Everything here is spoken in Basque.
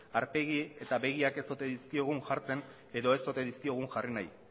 aurpegi eta begiak ez ote dizkiogun jartzen edo ez ote dizkiogun jarri nahi